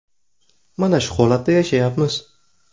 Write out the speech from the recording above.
Mana shu holatda yashayapmiz.